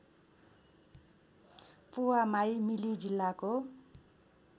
पुवामाई मिली जिल्लाको